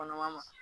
Kɔnɔma ma